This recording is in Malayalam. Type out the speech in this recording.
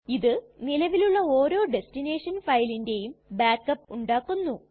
ഇത് നിലവിലുള്ള ഓരോ ടെസ്ടിനെഷൻ ഫയലിന്റെയും ബാക്ക് അപ്പ് ഉണ്ടാക്കുന്നു